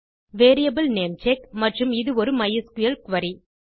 variable name check மற்றும் இது ஒரு மைஸ்கிள் குரி